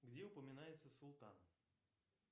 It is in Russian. где упоминается султан